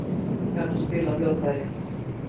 Sigga kann að spila á hljóðfæri.